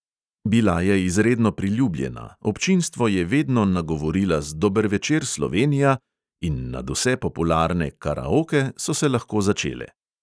Bila je izredno priljubljena, občinstvo je vedno nagovorila z dober večer, slovenija in nadvse popularne karaoke so se lahko začele.